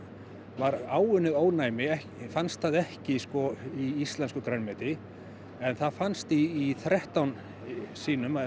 var áunnið ónæmi fannst það ekki í íslensku grænmeti en það fannst í þrettán sýnum af